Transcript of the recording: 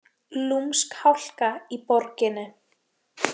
Lúmsk hálka í borginni